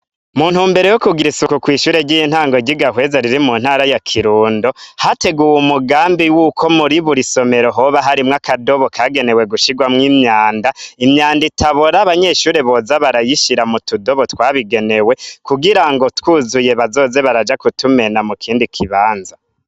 Muntumbereo yo kugira isoku kw'ishure ryiye ntango rgiga hweza riri mu ntara ya kirundo, hateguwe mugambi y'uko muri buri somero hoba harimwo akadobo kagenewe gushirwamwo imyanda, imyanda itabora abanyeshure boza barayishira mu tudobo twabigenewe kugira ngo twuzuye bazoze baraja kutumena mu kindi kibanza.